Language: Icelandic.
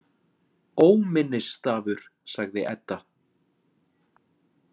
Óminnisstafur, sagði Edda.